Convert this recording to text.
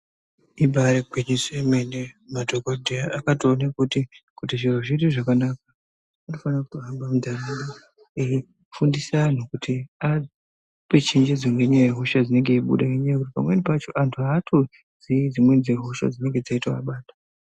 Ibarigwinyiso yemene madhogodheya akatoona kuti kuti zviro zviite zvakanaka anofana kutohamba muntaraunda. Eifundisa antu kuti ape chenjedzi ngenyaya yehosha inenge yeibuda. Ngenyaya yekuti pamweni pacho antu hatozii dzimweni dzehosha dzinenge dziivabata.